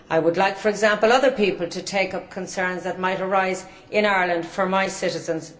I would, for example, like other people to take up concerns that might arise in Ireland for my citizens.